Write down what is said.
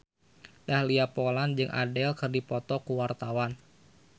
Dahlia Poland jeung Adele keur dipoto ku wartawan